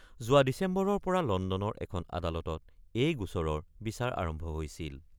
যোৱা ডিচেম্বৰৰ পৰা লণ্ডনৰ এখন আদালতত এই গোচৰৰ বিচাৰ আৰম্ভ হৈছিল।